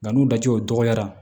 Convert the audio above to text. Nka n'u tɛ o dɔgɔyara